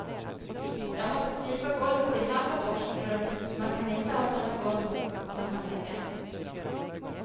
Jag måste slipa golvet i hall och borstrum, man kan inte ha såna golv mot såna väggar.